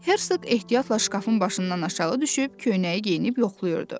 Herq ehtiyatla şkafın başından aşağı düşüb köynəyi geyinib yoxlayırdı.